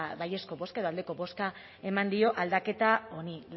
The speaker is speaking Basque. baiezko bozka edo aldeko bozka eman dio aldaketa honi